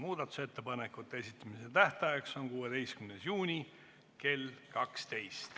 Muudatusettepanekute esitamise tähtaeg on 16. juuni kell 12.